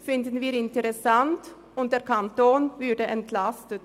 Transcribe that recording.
so würde der Kanton entlastet.